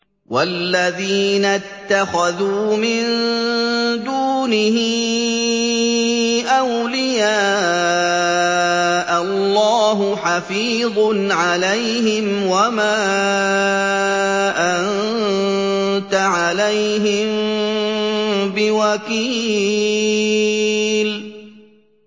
وَالَّذِينَ اتَّخَذُوا مِن دُونِهِ أَوْلِيَاءَ اللَّهُ حَفِيظٌ عَلَيْهِمْ وَمَا أَنتَ عَلَيْهِم بِوَكِيلٍ